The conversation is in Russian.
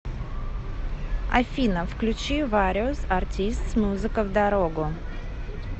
афина включи вариос артистс музыка в дорогу